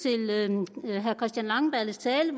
jeg herre christian langballes tale